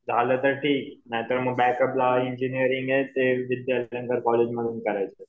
झालं तर ठीक नाही तर बॅकअपला इंजिनिअरिंग ते कॉलेजमधून करायचं.